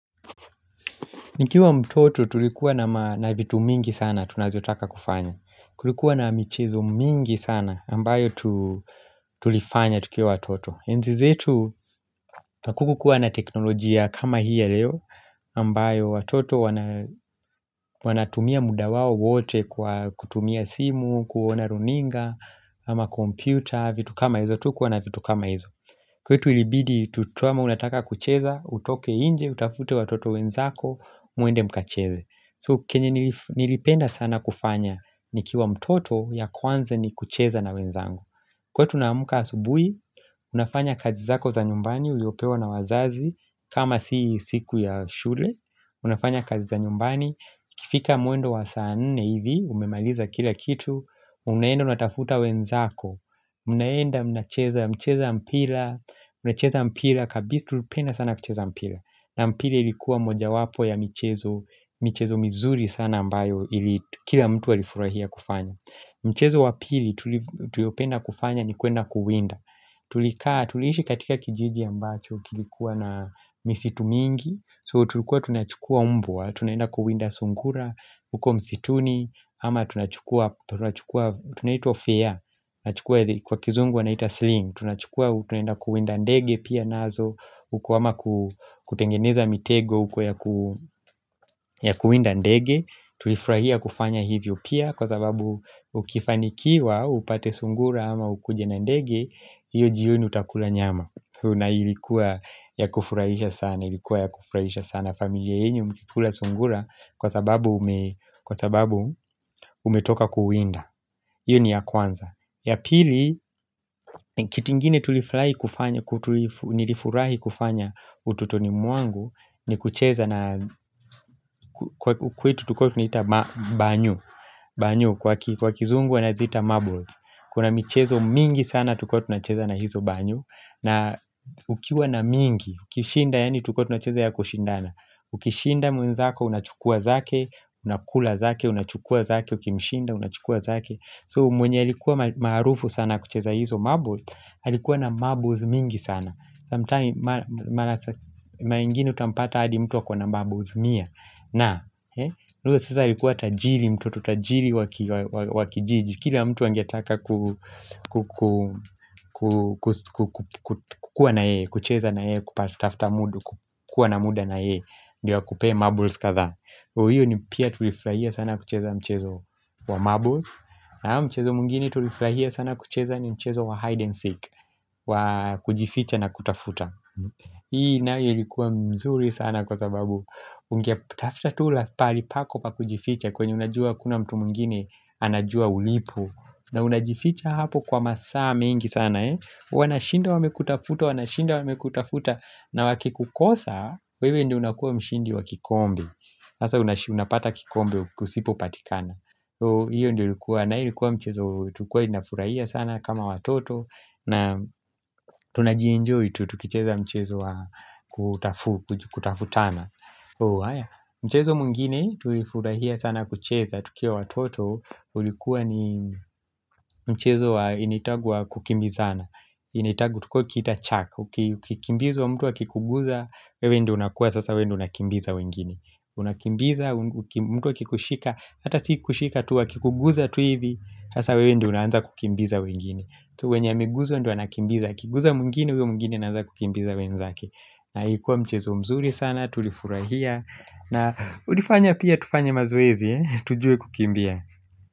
Nikiwa mtoto tulikuwa na vitu mingi sana tunazotaka kufanya Kulikuwa na michezo mingi sana ambayo tulifanya tukiwa watoto Enzizetu hakukuwa na teknolojia kama hii ya leo ambayo watoto wanatumia muda wao wote kutumia simu, kuona runinga, ama kompyuta vitu kama hizo, hatu kuwa na vitu kama hizo kwetu ilibidi tutuama unataka kucheza, utoke nje, utafute watoto wenzako, muende mkacheze So kenye nilipenda sana kufanya ni kiwa mtoto ya kwanza ni kucheza na wenzangu Kwa tunamuka asubui, unafanya kazi zako za nyumbani uliopewa na wazazi kama si siku ya shule, unafanya kazi za nyumbani iKifika mwendo wa saa nne hivi, umemaliza kila kitu Unaenda unatafuta wenzako, mnaenda mnacheza mpila Unacheza mpila, kabisa tu, lipenda sana kucheza mpila na mpila ilikuwa moja wapo ya michezo, michezo mizuri sana ambayo, kila mtu alifurahia kufanya Mchezo wa pili tuliopenda kufanya ni kuenda kuwinda Tulikaa, tuliishi katika kijiji ambacho kilikuwa na misitu mingi So tulikuwa tunachukua umbwa, tunaenda kuwinda sungura, huko msituni ama tunachukua, tunaitwa fair, kwa kizungu wanaita sling Tunachukua, tunaenda kuwinda ndege pia nazo Ukuwama kutengeneza mitego ya kuwinda ndege Tulifrahia kufanya hivyo pia Kwa sababu ukifanikiwa, upate sungura ama ukujena ndege hiyo jioni utakula nyama Tuna ilikuwa ya kufurahisha sana Ilikuwa ya kufurahisha sana familia yenu mkikula sungura Kwa sababu umetoka kuwinda hiyo ni ya kwanza Yapili, kitu ingine tulifurahi kufanya utotonimwangu ni kucheza na kwetu tukotunaita banyo Kwa kizungu wanaziita marbles Kuna michezo mingi sana tukotunacheza na hizo banyu na ukiwa na mingi, ukishinda yaani tukotunacheza ya kushindana Ukishinda mwenzako, unachukua zake, unakula zake, unachukua zake, ukimshinda, unachukua zake So mwenye alikuwa maarufu sana kucheza hizo marble Halikuwa na marbles mingi sana Sa mtaani mara ingine utampata adi mtu akona na marbles mia na, huyo sasa alikuwa tajiri mtoto tajiri wakijiji Kila mtu angetaka kukuwa na ye kucheza na ye, kupatafta mudu kukuwa na muda na ye Ndio akupee marbles kadhaa Uyo ni pia tulifraia sana kucheza mchezo wa marbles na mchezo mwingine tuliflahia sana kucheza ni mchezo wa hide and seek wa kujificha na kutafuta Hii na yo ilikuwa mzuri sana kwa sababu Unge tafta tu la pahali pako pa kujificha kwenye unajua hakuna mtu mwingine anajua ulipo na unajificha hapo kwa masaa mengi sana Wanashinda wamekutafuta, wanashinda wamekutafuta na waki kukosa, wewe ndio unakuwa mshindi wakikombe Nasa unapata kikombe kusipo patikana So hiyo ndio ulikuwa na ilikuwa mchezo tulikuwa tunafurahia sana kama watoto na tunajienjoy tu tukicheza mchezo wa kutafu, kutafutana So haya, mchezo mwingine tulifurahia sana kucheza tukiwa watoto ulikuwa ni mchezo wa initagu wa kukimbizana Initagu tukua kita chaka Ukikimbiz wa mtu akikuguza, wewe ndio unakuwa sasa wewe unakimbiza wengine Unakimbiza, mtu a kikushika Hata siku shika tu a kikuguza tuivi Hasa wewe ndio unaanza kukimbiza wegine Tuwenye ameguzwa ndio anakimbiza akiguza mwingine huyo mwingine anaanza kukimbiza wegine zake na hikuwa mchezo mzuri sana Tulifurahia na ulifanya pia tufanye mazoezi Tujue kukimbia.